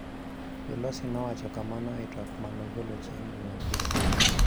Pelosi nowacho kamano e twak ma nogolo chieng' Jumapil.